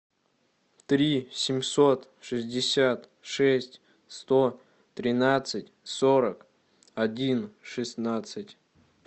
три семьсот шестьдесят шесть сто тринадцать сорок один шестнадцать